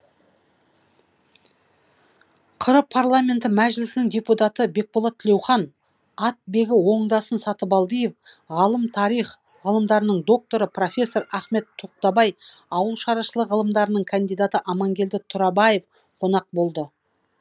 қр парламенті мәжілісінің депутаты бекболат тілеухан атбегі оңдасын сатыбалдиев ғалым тарих ғылымдарының докторы профессор ахмет тоқтабай ауыл шаруашылығы ғылымдарының кандидаты амангелді тұрабаев қонақ болды